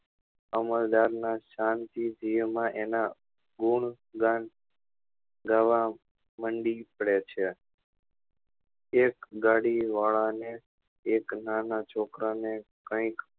અમલદાર ના શાંતિ દિઆ માં એના ગુણ ગાન ગાવા મંડી પડે છે એક ગાડી વાળા ને એક નાના છોકરા ને કઈક